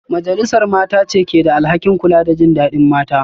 Majalisar Mata ce ke da alhakin kula da jin dadin mata